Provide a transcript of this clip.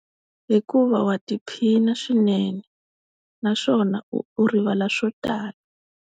Hikuva wa tiphina swinene naswona u rivala swo tala.